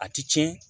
A ti tiɲɛ